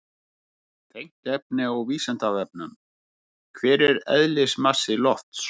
Tengt efni á Vísindavefnum: Hver er eðlismassi lofts?